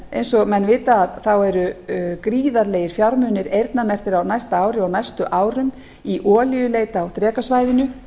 eins og menn vita eru gríðarlegir fjármunir eyrnamerktir á næsta ári og næstu árum í olíuleit á drekasvæðinu